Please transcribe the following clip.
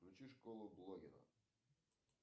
включи школу блогера